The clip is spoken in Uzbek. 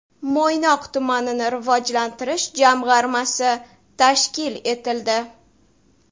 Mo‘ynoq tumanini rivojlantirish jamg‘armasi tashkil etildi.